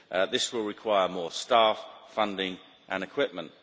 This will require more staff, funding and equipment.